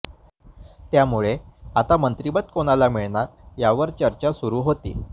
त्यामुळे आता मंत्रिपद कोणाला मिळणार यावर चर्चा सुरू होती